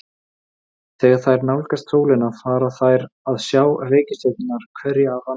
Þegar þær nálgast sólina fara þær að sjá reikistjörnurnar hverja af annarri.